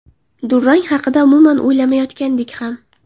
Durang haqida umuman o‘ylamayotgandik ham.